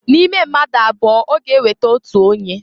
N'ime mmadu abụọ a ọ ga eweta otu onye.